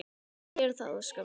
Við gerum það, Óskar minn.